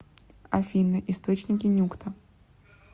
афина источники нюкта